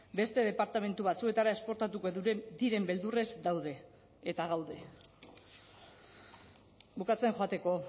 beste departamentu batzuetara esportatuko diren beldurrez daude eta gaude bukatzen joateko